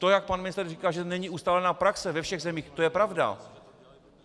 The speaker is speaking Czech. To, jak pan ministr říkal, že není ustálená praxe ve všech zemích, to je pravda.